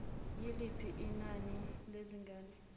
yiliphi inani lezilwane